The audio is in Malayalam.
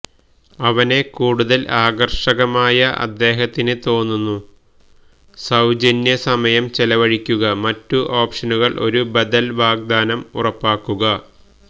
അവനെ കൂടുതൽ ആകർഷകമായ അദ്ദേഹത്തിന് തോന്നുന്നു സൌജന്യ സമയം ചെലവഴിക്കുക മറ്റു ഓപ്ഷനുകൾ ഒരു ബദൽ വാഗ്ദാനം ഉറപ്പാക്കുക